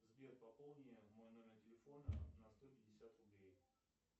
сбер пополни мой номер телефона на сто пятьдесят рублей